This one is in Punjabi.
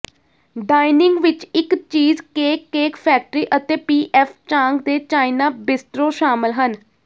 ਡਾਈਨਿੰਗ ਵਿਚ ਇਕ ਚੀਜ਼ ਕੇਕਕੇਕ ਫੈਕਟਰੀ ਅਤੇ ਪੀ ਐੱਫ ਚਾਂਗ ਦੇ ਚਾਈਨਾ ਬੀਸਟਰੋ ਸ਼ਾਮਲ ਹਨ